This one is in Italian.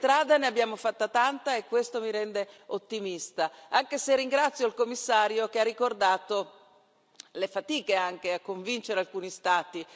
Di strada ne abbiamo fatta tanta e questo mi rende ottimista, e ringrazio il Commissario che ha ricordato anche le fatiche a convincere alcuni Stati.